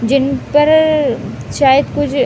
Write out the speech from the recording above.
जिनपर चाय कु ज --